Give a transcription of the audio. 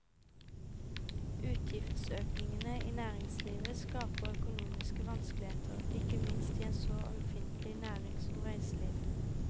Utgiftsøkningene i næringslivet skaper økonomiske vanskeligheter, ikke minst i en så ømfintlig næring som reiseliv.